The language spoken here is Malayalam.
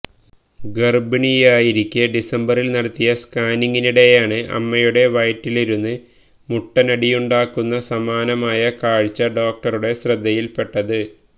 ഗര്ഭിണിയായിരിക്കെ ഡിസംബറില് നടത്തിയ സ്കാനിങിനിടെയാണ്അമ്മയുടെ വയറ്റിലിരുന്ന് മുട്ടനാടിയുണ്ടാകുന്ന സമാനമായ കാഴ്ച ഡോക്ടറുടെ ശ്രദ്ധയില്പ്പെട്ടത്